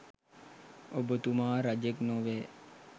ඔබතුමා රජෙක් නොවැ!